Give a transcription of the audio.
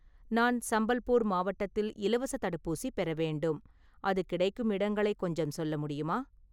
நான் சம்பல்பூர் மாவட்டத்தில் இலவசத் தடுப்பூசி பெற வேண்டும், அது கிடைக்கும் இடங்களை கொஞ்சம் சொல்ல முடியுமா?